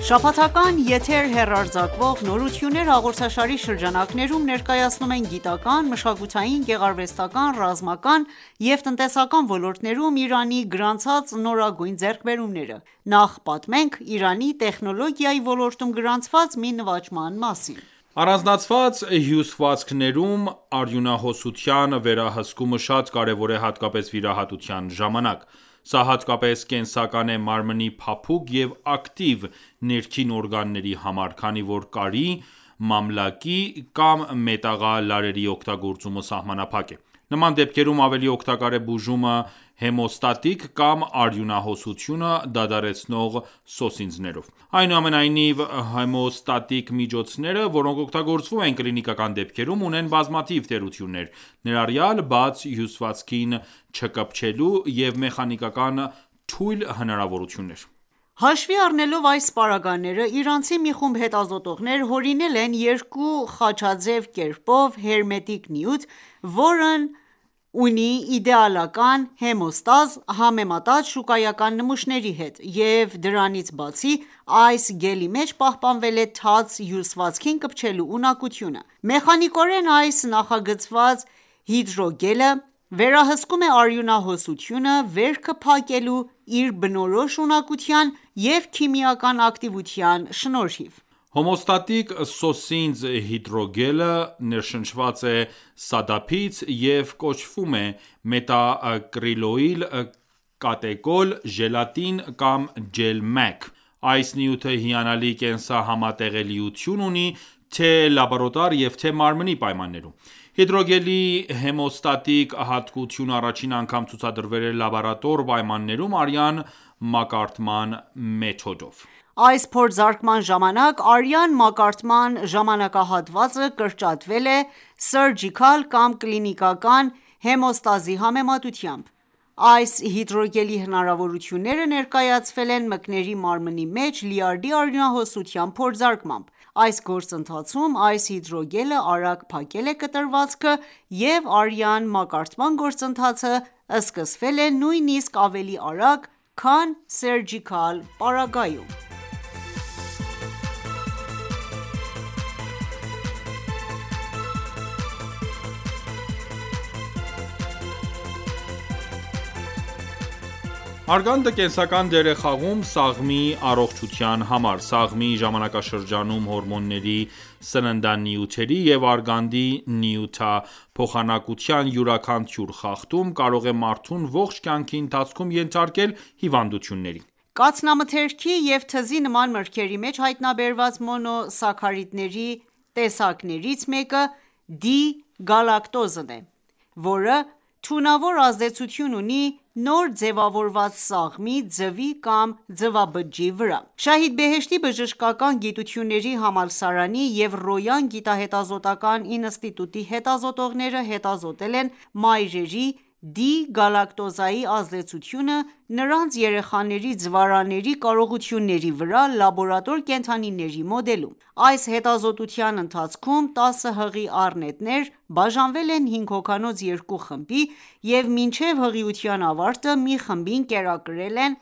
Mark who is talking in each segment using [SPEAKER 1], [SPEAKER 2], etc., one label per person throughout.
[SPEAKER 1] Շաբաթական եթեր հեռարձակվող «Նորություններ» հաղորդաշարի շրջանակներում, ներկայացնում ենք գիտական, մշակութային, գեղարվեստական, ռազմական ու տնտեսական ոլորտներում Իրանի գրանցած նորագույն ձեռքբերումները։ Նախ պատմենք Իրանի տեխնոլոգիայի ոլորտում գրանցված մի նվաճման մասին։
[SPEAKER 2] Առանձնացված հյուսվածքներում արյունահոսության վերահսկումը շատ կարևոր է հատկապես վիրահատության ժամանակ: Սա հատկապես կենսական է մարմնի փափուկ և ակտիվ ներքին օրգանների համար, քանի որ կարի, մամլակի կամ մետաղալարերի օգտագործումը սահմանափակ է: Նման դեպքերում ավելի օգտակար է բուժումը հեմոստատիկ կամ արյունահոսությունը դադարեցնող սոսինձներով: Այնուամենայնիվ, հեմոստատիկ միջոցները, որոնք օգտագործվում են կլինիկական դեպքերում, ունեն բազմաթիվ թերություններ, ներառյալ թաց հյուսվածքին չկպչելու և մեխանիկական թույլ հնարավորություններ:
[SPEAKER 1] Հաշվի առնելով այս պարագաները, իրանցի մի խումբ հետազոտողներ հորինել են երկու խաչաձև կապերով հերմետիկ նյութ, որն ունի իդեալական հեմեոստազ՝ համեմատած շուկայական նմուշների հետ, և դրանից բացի այս գելի մեջ պահպանվել է թաց հյուսվածքին կպչելու ունակությունը: Մեխանիկորեն այս նախագծված հիդրոգելը վերահսկում է արյունահոսությունը վերքը փակելու իր բնորոշ ունակության և քիմիական ակտիվության շնորհիվ:
[SPEAKER 2] Հոմոստատիկ սոսինձ հիդրոգելը ներշնչված է սադափից և կոչվում է մետակրիլոիլ-կատեկոլ ժելատին (GelMAC): Այս նյութը հիանալի կենսահամատեղելիություն ունի թե լաբորատոր և թե՝մարմնի պայմաններում: Հիդրոգելի հեմոստատիկ հատկությունը առաջին անգամ ցուցադրվել է լաբորատոր պայմաններում արյան մակարդման մեթոդով:
[SPEAKER 1] Այս փորձարկման ժամանակ արյան մակարդման ժամանաահատվածը կրճատվել է Surgicel կամ կլինիկական հեմոստազի համեմատությամբ: Այս հիդրոգելի հնարավորությունները ներկայացվել են մկների մարմնի մեջ լյարդի արյունահոսության փորձարկմամբ: Այս գործընթացում այս հիդրոգելը արագ փակել է կտրվածքը, և արյան մակարդման գործընթացը սկսվել է նույնիսկ ավելի արագ, քան Surgicel-պարագայում: Մարմնի
[SPEAKER 2] ներսում արյունահոսությունը արագ դադարեցնող նյութի գյուտը իրանցի հետազոտողների կողմից Արգանդը կենսական դեր է խաղում սաղմի առողջության համար: Սաղմի ժամանակաշրջանում հորմոնների, սննդանյութերի և արգանդի նյութափոխանակության յուրաքանչյուր խախտում կարող է մարդուն ողջ կյանքի ընթացքում ենթարկել հիվանդությունների:
[SPEAKER 1] Կաթնամթերքի և թզի նման մրգերի մեջ հայտնաբերված մոնո սաքարիդների տեսակներից մեկը D-գալակտոզն է, որը թունավոր ազդեցություն ունի նոր ձևավորված սաղմի (ձվի կամ ձվաբջիջի) վրա: «Շահիդ Բեհեշթի» բժշկական գիտությունների համալսարանի և Ռոյան գիտահետազոտական ​​ինստիտուտի հետազոտողները հետազոտել են մայրերի D-գալակտոզայի ազդեցությունը նրանց երեխաների ձվարանների կարողությունների վրա լաբորատոր կենդանիների մոդելում: Այս հետազոտության ընթացքում 10 հղի առնետներ բաժանվել են հինգ հոգանոց երկու խմբի և մինչև հղիության ավարտը մի խմբին կերակրել են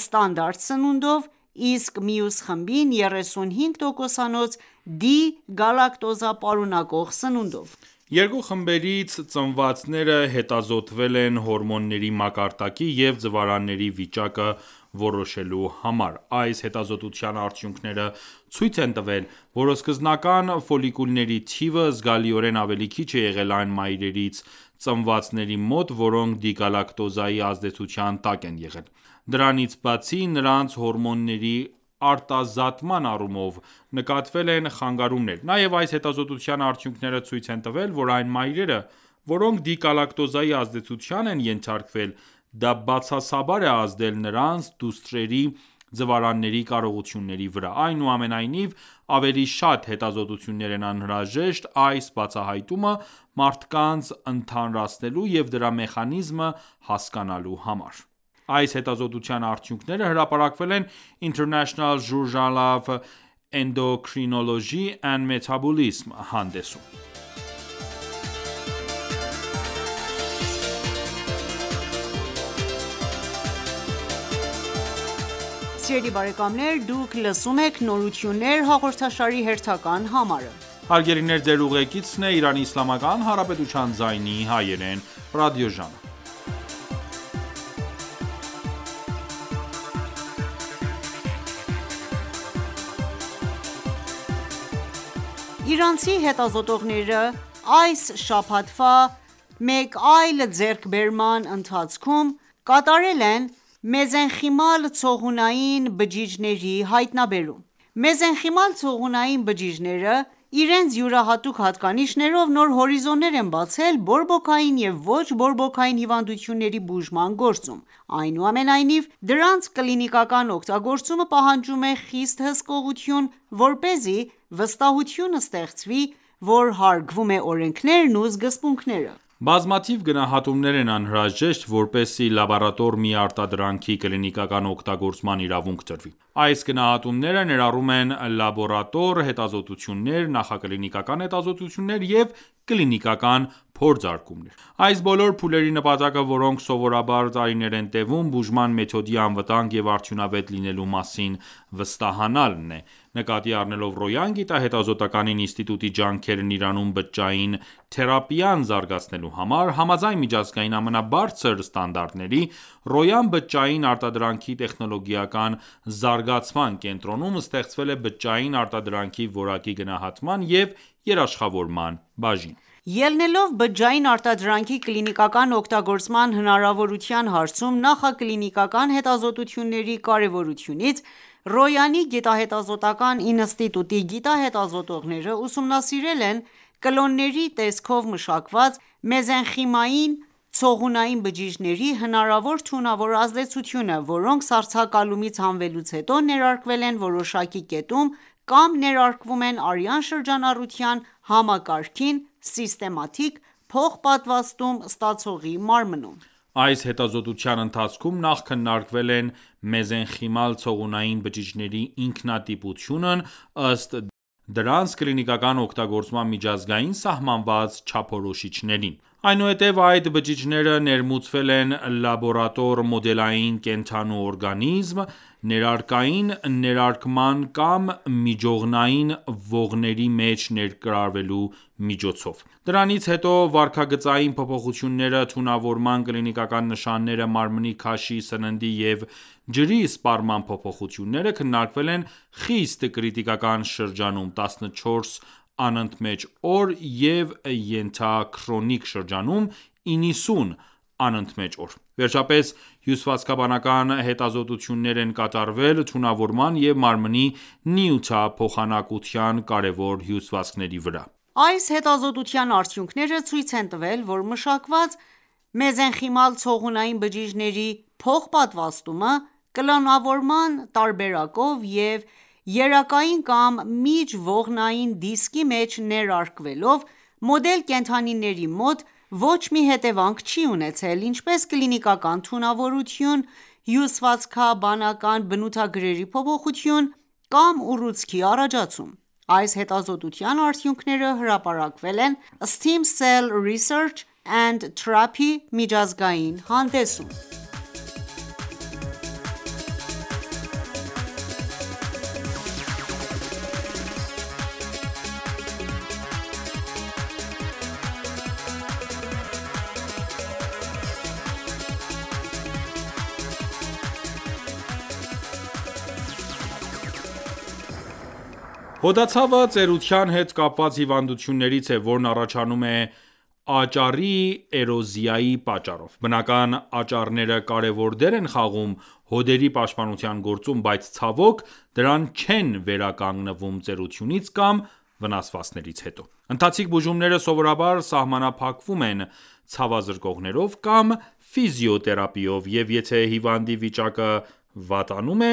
[SPEAKER 1] ստանդարտ սնունդով, իսկ մյուս խմբին՝ 35% D-գալակտոզա պարունակող սնունդով:
[SPEAKER 2] Երկու խմբերից ծնվածները հետազոտվել են հորմոնների մակարդակի և ձվարանների վիճակը որոշելու համար: Այս հետազոտության արդյունքները ցույց են տվել, որ սկզբնական ֆոլիկուլների թիվը** զգալիորեն ավելի քիչ է եղել այն մայրերից ծնվածների մոտ, որոնք D-գալակտոզայի ազդեցության տակ են եղել: Դրանից բացի, նրանց հորմոնների արտազատման առումով նկատվել են խանգարումներ: Նաև այս հետազոտության արդյունքները ցույց են տվել, որ այն մայրերը ,որոնք D-գալակտոզայի ազդեցությանն են ենթարկվել ,դա բացասաբար է ազդել նրանց դուստրերի ձվարանների կարողությունների վրա: Այնուամենայնիվ, ավելի շատ հետազոտություններ են անհրաժեշտ այս բացահայտումը մարդկանց ընդհանրացնելու և դրա մեխանիզմը հասկանալու համար: Այս հետազոտության արդյունքները հրապարակվել են «International Journal of Endocrinology and Metabolism» հանդեսում:
[SPEAKER 1] Աղջիկների ձվարանների ծավալի նվազման պատճառի
[SPEAKER 2] բացահայտումը Ռոյանի հետազոտողների կողմից
[SPEAKER 1] Իրանցի հետազոտողների այս շաբաթվա մեկ այլ ձեռքբերումը կապված է մեզենխիմալ ցողունային բջիջների հետ: Մեզենխիմալ ցողունային բջիջները*** իրենց յուրահատուկ հատկանիշներով նոր հորիզոններ են բացել բորբոքային և ոչ բորբոքային հիվանդությունների բուժման գործում։ Այնուամենայնիվ, դրանց կլինիկական օգտագործումը պահանջում է խիստ հսկողություն, որպեսզի վստահություն ստեղծվի ,որ հարգվում է օրենքներն ու սկզբունքները:
[SPEAKER 2] Բազմաթիվ գնահատումներ են անհրաժեշտ, որպեսզի լաբորատոր մի արտադրանքի կլինիկական օգտագործման իրավունք տրվի։ Այս գնահատումները ներառում են լաբորատոր հետազոտություններ, նախակլինիկական հետազոտություններ և կլինիկական փորձարկումներ: Այս բոլոր փուլերի նպատակը, որոնք սովորաբար տարիներ են տևում, բուժման մեթոդի անվտանգ և արդյունավետ լինելու մասին վստահանալն է: Նկատի առնելով Ռոյան գիտահետազոտական ​​ինստիտուտի ջանքերն Իրանում բջջային թերապիան զարգացնելու համար՝ համաձայն միջազգային ամենաբարձր ստանդարտների, Ռոյան բջջային արտադրանքի տեխնոլոգիական զարգացման կենտրոնում ստեղծվել է բջջային արտադրանքի որակի գնահատման և երաշխավորման բաժին:
[SPEAKER 1] Ելնելով բջջային արտադրանքի կլինիկական օգտագործման հնարավորության հարցում նախակլինիկական հետազոտությունների կարևորությունից՝ Ռոյանի գիտահետազոտական ​​ինստիտուտի հետազոտողները ուսումնասիրել են կլոնների տեսքով մշակված մեզենխիմային ցողունային բջիջների հնարավոր թունավոր ազդեցությունը, որոնք սառցակալումից հանվելուց հետո ներարկվել են որոշակի կետում կամ ներարկվում են արյան շրջանառության համակարգին(systematic) փոխպատվաստում ստացողի մարմնում:
[SPEAKER 2] Այս հետազոտության ընթացքում նախ քննարկվել են մեզենխիմալ ցողունային բջիջների ինքնատիպությունն ,ըստ դրանց կլինիկական օգտագործման միջազգային սահմանված չափորոշիչներին: Այնուհետև այդ բջիջները ներմուծվել են լաբորատոր մոդելային կենդանու օրգանիզմ՝ ներերակային ներարկման կամ միջողնային ողների մեջ ներարկվելու միջոցով: Դրանից հետո վարքագծային փոփոխությունները, թունավորման կլինիկական նշանները, մարմնի քաշի, սննդի և ջրի սպառման փոփոխությունները քննարկվել են խիստ կրիտիկական շրջանում ՝ 14 անընդմեջ օր և ենթաքրոնիկ շրջանում՝ 90 անընդմեջ օր: Վերջապես, հյուսվածքաբանական հետազոտություններ են կատարվել թունավորման և մարմնի նյութափոխանակության կարևոր հյուսվածքների վրա:
[SPEAKER 1] Այս հետազոտության արդյունքները ցույց են տվել, որ մշակված մեզենխիմալ ցողունային բջիջների փոխպատվաստումը կլոնավորման տարբերակով և երակային կամ Միջողնային դիսկի մեջ ներարկվելով, մոդել կենդանիների մոտ ոչ մի հետևանք չի ունեցել ,ինչպես՝ կլինիկական թունավորություն, հյուսվածքաբանական բնութագրերի փոփոխություն կամ ուռուցքի առաջացում: Այս հետազոտության արդյունքները հրապարակվել են Stem Cell Research & Therapy միջազգային հանդեսում: Ռոյանի գիտահետազոտական ​​ինստիտուտի հետազոտողների հետազոտությունների արդյունքները ցույց են տվել, որ մեզենխիմալ ցողունային բջիջների թունավոր ազդեցությունը չի ազդում բջիջը ստացողի վրա
[SPEAKER 2] Հոդացավը ծերության հետ կապված հիվանդություններից է, որն առաջանում է աճառի էրոզիայի պատճառով։ Բնական աճառները կարևոր դեր են խաղում հոդերի պաշտպանության գործում, բայց, ցավոք, դրանք չեն վերականգնվում ծերությունից կամ վնասվածքներից հետո: Ընթացիկ բուժումները սովորաբար սահմանափակվում են ցավազրկողներով կամ ֆիզիոթերապիայով, և եթե հիվանդի վիճակը վատանում է,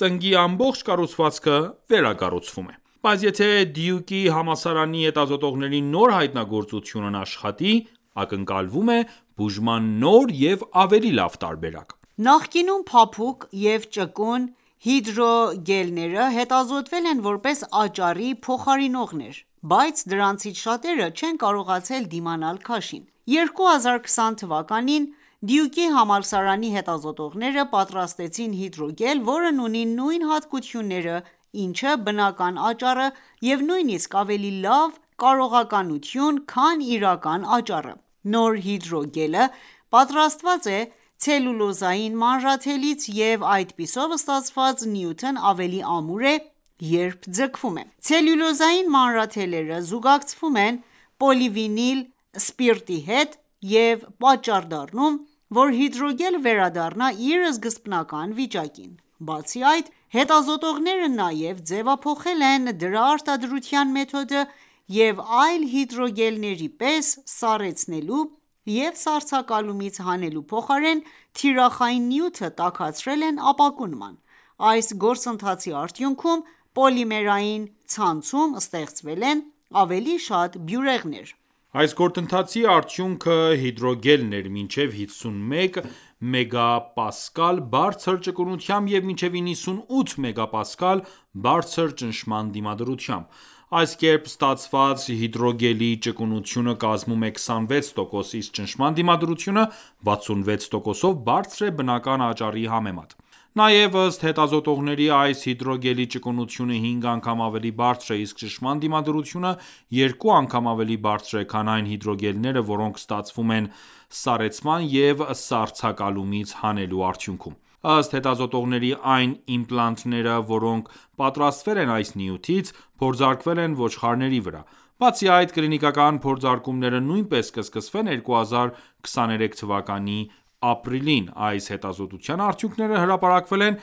[SPEAKER 2] ծնկի ամբողջ կառուցվածքը վերակառուցվում է: Բայց եթե Դյուկի համալսարանի հետազոտողների նոր հայտնագործությունն աշխատի, ակնկալվում է բուժման նոր և ավելի լավ տարբերակ:
[SPEAKER 1] Նախկինում փափուկ և ճկուն հիդրոգելները հետազոտվել են որպես աճառի փոխարինողներ, բայց դրանցից շատերը չեն կարողացել դիմանալ քաշին: 2020 թվականին Դյուկի համալսարանի հետազոտողները պատրաստեցին հիդրոգել, որն ուներ նույն հատկությունները, ինչը բնական աճառը և նույնիսկ ավելի լավ կատարողականություն, քան իրական աճառը: Նոր հիդրոգելը պատրաստված է ցելյուլոզային մանրաթելից և այդպիսով ստացված նյութն ավելի ամուր է, երբ ձգվում է: Ցելյուլոզային մանրաթելերը զուգակցվում են պոլիվինիլ սպիրտի հետ և պատճառ դառնում ,որ հիդրոգելը վերադառնա իր սկզբնական վիճակին: Բացի այդ, հետազոտողները նաև ձևափոխել են դրա արտադրության մեթոդը և այլ հիդրոգելների պես սառեցնելու և սառցակալումից հանելու փոխարեն թիրախային նյութը տաքացրել են ապակու նման։ Այս գործընթացի արդյունքում պոլիմերային ցանցում ստեղծվել են ավելի շատ բյուրեղներ:
[SPEAKER 2] Այս գործընթացի արդյունքը հիդրոգելն էր՝ մինչև 51 Մեգապասկալ բարձր ճկունությամբ և մինչև 98 մեգապասկալ բարձր ճնշման դիմադրությամբ: Այս կերպ ստացված հիդրոգելի ճկունությունը կազմում է 26%, իսկ ճնշման դիմադրությունը 66%-ով բարձր է բնական աճառի համեմատ։ Նաև, ըստ հետազոտողների, այս հիդրոգելի ճկունությունը 5 անգամ ավելի բարձր է, իսկ ճնշման դիմադրությունը 2 անգամ ավելի բարձր է, քան այն հիդրոգելները, որոնք ստացվում են սառեցման և սառցակալումից հանելու արդյունքում։ Ըստ հետազոտողների՝այն իմպլանտները ,որոնք պատրաստվել են այս նյութից, փորձարկվել են ոչխարների վրա: Բացի այդ, կլինիկական փորձարկումները նույնպես կսկսվեն 2023 թվականի ապրիլին։ Այս հետազոտության արդյունքները հրապարակվել են